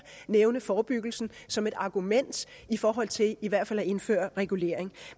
nævne forebyggelsen som et argument i forhold til i hvert fald at indføre regulering